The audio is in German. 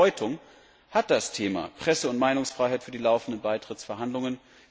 Welche Bedeutung hat das Thema Presse und Meinungsfreiheit für die laufenden Beitrittsverhandlungen?